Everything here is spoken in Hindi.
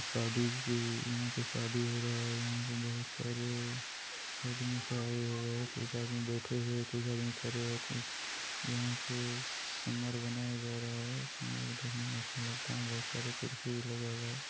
शादी की यहाँ पे शादी हो रहा है। यहाँ बहुत सारे आदमी आए हुए है कुछ आदमी बैठे हुए है कुछ आदमी खड़े है यहां पे समर बनाया जा रहा है। समर देखने में अच्छा लगता है बहुत सारे कुर्सी भी लगा हुआ है।